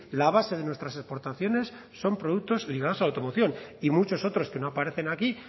la base de nuestras aportaciones son productos ligados a la automoción y muchos otros que no aparecen aquí